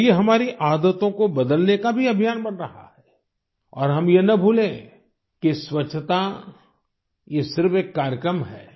और ये हमारी आदतों को बदलने का भी अभियान बन रहा है और हम ये न भूलें कि स्वच्छता यह सिर्फ एक कार्यक्रम है